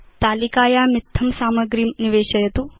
तालिकायाम् इत्थं सामग्रीं निवेशयतु